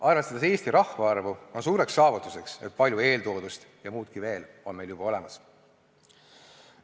Arvestades Eesti rahvaarvu on suureks saavutuseks, et palju eeltoodust ja muudki veel on meil juba olemas.